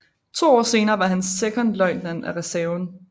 To år senere var han sekondløjtnant af reserven